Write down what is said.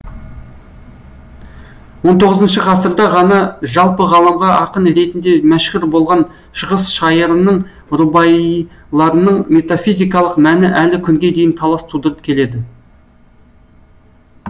хіх ғасырда ғана жалпы ғаламға ақын ретінде мәшһүр болған шығыс шайырының рубаиларының метафизикалық мәні әлі күнге дейін талас тудырып келеді